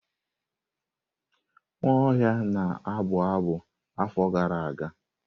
Nwaohia na-abụ abụ afọ gara aga.